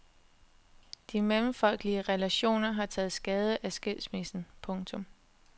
De mellemfolkelige relationer har taget skade af skilsmissen. punktum